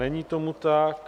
Není tomu tak.